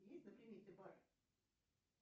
есть на примете бар